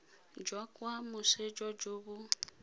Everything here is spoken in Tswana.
jwa kwa moseja jo bo